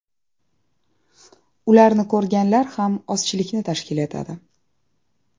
Ularni ko‘rganlar ham ozchilikni tashkil etadi.